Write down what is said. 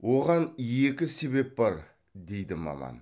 оған екі себер бар дейді маман